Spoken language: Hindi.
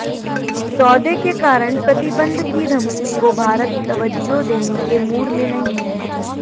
सौदे के कारण प्रतिबंध की धमकी को भारत तवज्जो देने के मूड में नहीं है